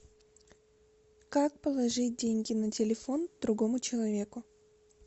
как положить деньги на телефон другому человеку